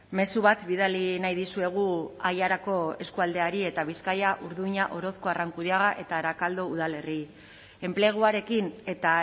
mezu bat bidali nahi dizuegu aiarako eskualdeari eta bizkaia urduña orozko arrankudiaga eta arakaldo udalerriei enpleguarekin eta